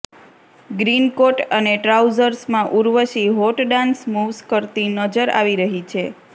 green coat અને ટ્રાઉઝર્સમાં Urvashi hot dance moves કરતી નજર આવી રહી છે